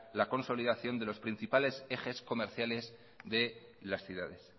la consolidación de los principales ejes comerciales de las ciudades